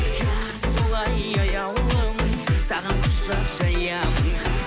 иә солай аяулым саған құшақ жаямын